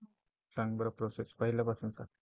सांग बरं Process पहिल्यापासून सांग.